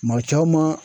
Maa caman